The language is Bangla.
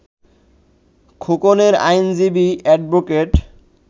খোকনের আইনজীবী অ্যাডভোকেট